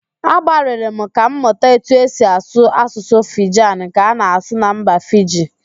Agbalịrị m ka m mụta etu esi asụ Asụsụ Fijan nke a na-asụ na mba Fiji